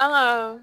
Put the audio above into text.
An ka